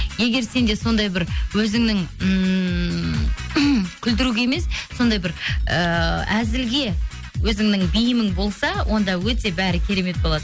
егер сенде сондай бір өзіңнің ммм күлдіруге емес сондай бір ыыы әзілге өзіңнің бейімің болса онда өте бәрі керемет болады